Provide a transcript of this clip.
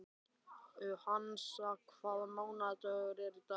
Hansa, hvaða mánaðardagur er í dag?